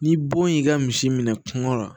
Ni bon y'i ka misi minɛ kungo la